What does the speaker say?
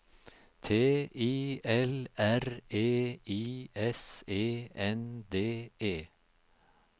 T I L R E I S E N D E